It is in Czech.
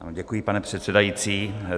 Děkuji, pane předsedající.